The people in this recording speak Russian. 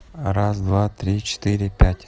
раз-два-три-четыре пять